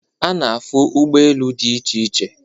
A na-afụ ụgbọelu dị iche iche